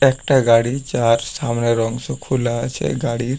একটা গাড়ি যার সামনের অংশ খুলা আছে গাড়ির।